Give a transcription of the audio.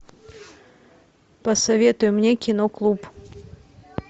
посоветуй мне кино клуб